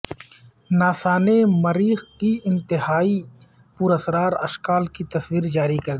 NASA نے مریخ کی انتہائی پراسرار اشکال کی تصویر جاری کردی